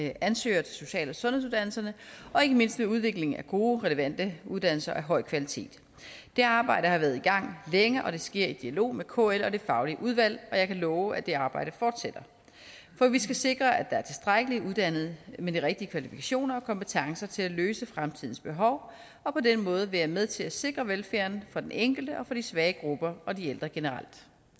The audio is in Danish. ansøgere til social og sundhedsuddannelserne og ikke mindst med udviklingen af gode relevante uddannelser af høj kvalitet det arbejde har været i gang længe det sker i dialog med kl og det faglige udvalg og jeg kan love at det arbejde fortsætter for vi skal sikre at der er tilstrækkeligt uddannede med de rigtige kvalifikationer og kompetencer til at løse fremtidens behov og på den måde være med til at sikre velfærden for den enkelte og for de svage grupper og de ældre generelt